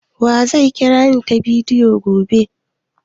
Wa zai kirani ta bidiyo gobe?